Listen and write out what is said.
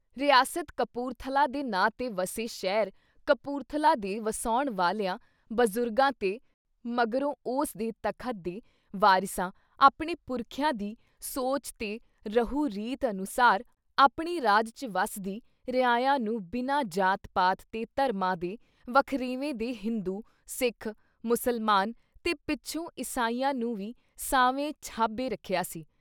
ਰਿਆਸਤ ਕਪੂਰਥਲਾ ਦੇ ਨਾਂ ‘ਤੇ ਵਸੇ ਸ਼ਹਿਰ ਕਪੂਰਥਲਾ ਦੇ ਵਸਾਉਣ ਵਾਲਿਆਂ ਬਜ਼ੁਰਗਾਂ ਤੇ ਮਗਰੋਂ ਉਸ ਦੇ ਤਖ਼ਤ ਦੇ ਵਾਰਿਸਾਂ ਆਪਣੇ ਪੁਰਖਿਆਂ ਦੀ ਸੋਚ ਤੇ ਰਹੁ-ਰੀਤ ਅਨੁਸਾਰ ਆਪਣੇ ਰਾਜ ‘ਚ ਵਸਦੀ ਰਿਆਇਆ ਨੂੰ ਬਿਨਾਂ ਜ਼ਾਤ-ਪਾਤ ਤੇ ਧਰਮਾਂ ਦੇ ਵਖਰੇਂਵੇ ਦੇ ਹਿੰਦੂ, ਸਿੱਖ, ਮੁਸਲਮਾਨ ਤੇ ਪਿੱਛੋਂ ਇਸਾਈਆਂ ਨੂੰ ਵੀ ਸਾਵੇਂ ਛਾਬੇ ਰੱਖਿਆ ਸੀ।